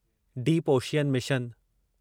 deep ocean mission